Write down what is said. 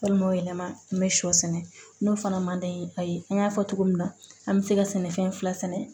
Walima yɛlɛma n bɛ sɔ sɛnɛ n'o fana ma d'an ye ayi an y'a fɔ cogo min na an bɛ se ka sɛnɛfɛn fila sɛnɛ